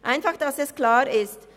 Damit es klar ist: